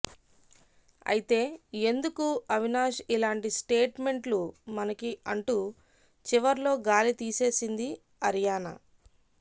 అయితే ఎందుకు అవినాష్ ఇలాంటి స్టేట్ మెంట్లు మనకి అంటూ చివర్లో గాలి తీసేసింది అరియానా